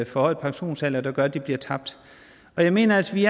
forhøjet pensionsalder der gør at de bliver tabt jeg mener at vi